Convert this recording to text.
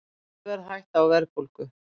Töluverð hætta á verðbólgu